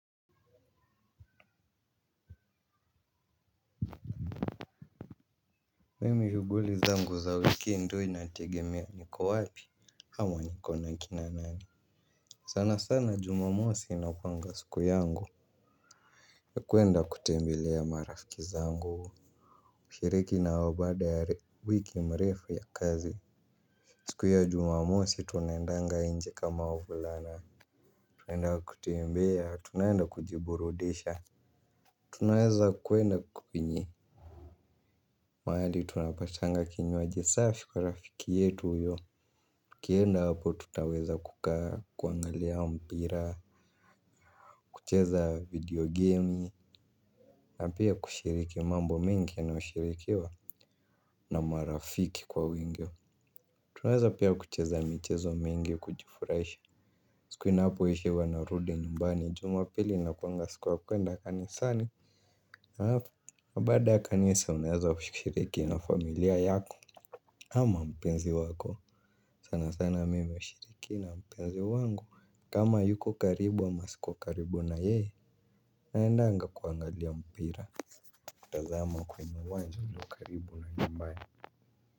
Mimi shuguli zangu za wiki ndio inategemea niko wapi hama niko na kina nani. Sana sana jumamosi inakuanga siku yangu ya kuenda kutembelea marafiki zangu hushiriki na wao baada ya wiki mrefu ya kazi. Siku ya jumamosi tunaendanga inje kama wavulana. Tunaenda kutembea tunaenda kujiburudisha. Tunaweza kuenda uko kwenye mahali tunapashanga kinywaji saafi kwa rafiki yetu uyo tukienda hapo tutaweza kukaa, kuangalia mpira, kucheza video gemi. Na pia kushiriki mambo mengi yanayoshirikiwa na marafiki kwa wingi. Tunaweza pia kucheza michezo mingi kujifurahisha. Siku inapo isha wanarudi nyumbani jumapili inakuanga siku ya kuenda kanisani alafu, baada ya kanisa unaezwa kushiriki na familia yako ama mpenzi wako, sana sana mimi ushiriki na mpenzi wangu. Kama ayuko karibu ama siko karibu na yeye naendanga kuangalia mpira. Tazama kwenye uwanja ulio karibu na nyumbani.